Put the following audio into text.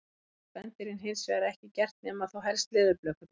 Það hafa spendýrin hins vegar ekki gert nema þá helst leðurblökurnar.